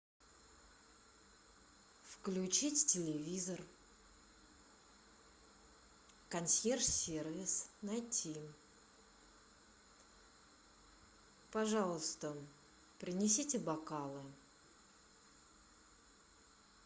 включить телевизор консьерж сервис найти пожалуйста принесите бокалы